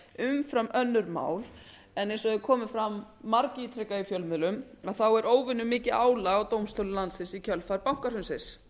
umfram önnur mál en eins og hefur komið fram margítrekað í fjölmiðlum er óvenjumikið álag á dómstólum landsins í kjölfar bankahrunsins